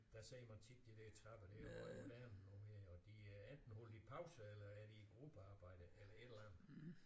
Der ser man tit de der trapper det er jo moderne nu her og de enten holder de pause eller er de i gruppearbejde eller et eller andet